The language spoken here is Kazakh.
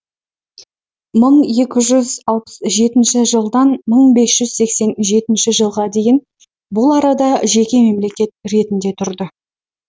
мың екі жүз алпыс жетінші жылдан мың бес жүз сексен жетінші жылға дейін бұл арада жеке мемлекет ретінде тұрды